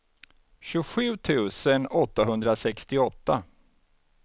tjugosju tusen åttahundrasextioåtta